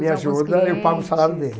Me ajuda, eu pago o salário dele.